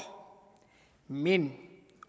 men